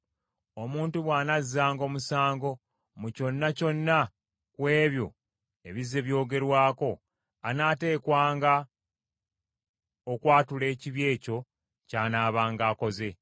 Omuntu bw’anazzanga omusango mu kyonna kyonna ku ebyo ebizze byogerwako, anaateekwanga okwatula ekibi ekyo ky’anaabanga akoze,